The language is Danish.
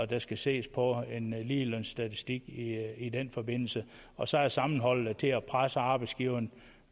der skal ses på en ligelønsstatistik i i den forbindelse og så er sammenholdet til at presse arbejdsgiveren